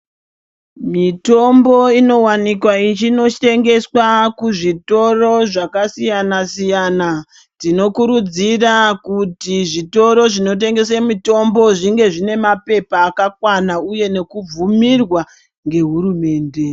Mitombo inowanikwa ichinotengeswa kuzvitoro zvakasiyana siyana ,tinokurudzira kuti zvitoro zvinotengese mitombo zvinge zvinemapepa akakwana uye nekubvumirwa ngehurumende .